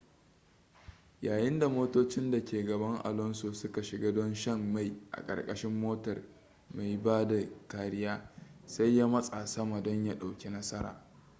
yayin da motocin da ke gaban alonso suka shiga don shan mai a ƙarƙashin motar mai ba da kariya sai ya matsa sama don ya ɗauki nasara